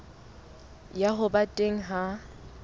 ya ho ba teng ha